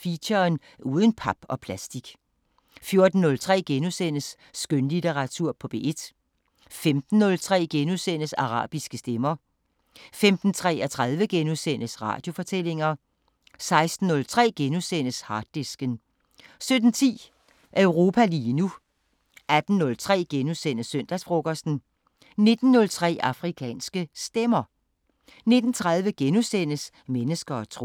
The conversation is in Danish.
Feature: Uden pap og plastik * 14:03: Skønlitteratur på P1 * 15:03: Arabiske Stemmer * 15:33: Radiofortællinger * 16:03: Harddisken * 17:10: Europa lige nu 18:03: Søndagsfrokosten * 19:03: Afrikanske Stemmer 19:30: Mennesker og tro *